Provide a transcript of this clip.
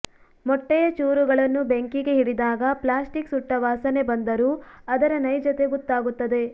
ಮೊಟ್ಟೆಯ ಚೂರುಗಳನ್ನು ಬೆಂಕಿಗೆ ಹಿಡಿದಾಗ ಪ್ಲಾಸ್ಟಿಕ್ ಸುಟ್ಟ ವಾಸನೆ ಬಂದರೂ ಅದರ ನೈಜತೆ ಗೊತ್ತಾಗುತ್ತದೆ